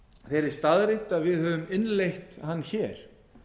þeirri staðreynd að við höfum innleitt hann hér